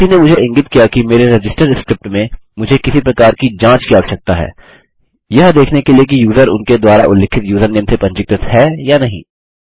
किसी ने मुझे इंगित किया कि मेरे रजिस्टर स्क्रिप्ट में मुझे किसी प्रकार की जाँच की आवश्यकता है यह देखने के लिए कि यूज़र उनके द्वारा उल्लिखित यूज़रनेम से पंजीकृत है या नहीं